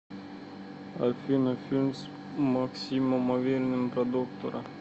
афина фильм с максимом авериным про доктора